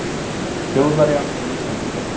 Þjóðverja og Íslendinga.